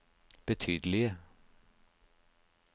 betydelige